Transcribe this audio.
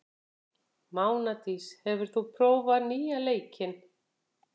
Mánadís, hefur þú prófað nýja leikinn?